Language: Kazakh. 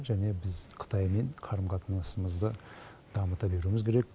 және біз қытаймен қарым қатынасымызды дамыта беруіміз керек